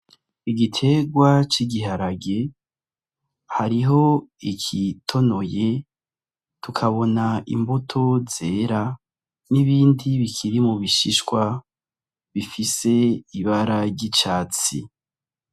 Igiterwa c'igiharage hariho igitonoye, tukabona imbuto zera n'ibindi bikiri mu bishishwa bifise ibara ry'icatsi.